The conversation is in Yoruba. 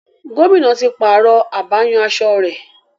Gómìnà ti pààrọ̀ abáyanaṣọ rẹ̀.